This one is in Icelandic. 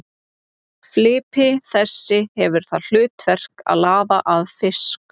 Flipi þessi hefur það hlutverk að laða að fisk.